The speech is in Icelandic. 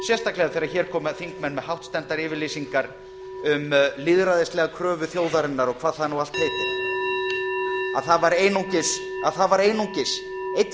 sérstaklega þegar hér koma þingmenn með hástemmdar yfirlýsingar um lýðræðislega kröfu þjóðarinnar og hvað það nú allt heitir að það var einungis einn